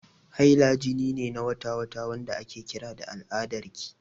Haila jini ne na wata-wata, wanda ake kira al'adarki.